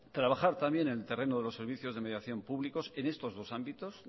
trabajar también en el terreno de los servicios de mediación públicos en estos dos ámbitos